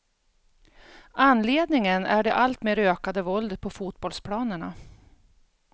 Anledningen är det alltmer ökade våldet på fotbollsplanerna.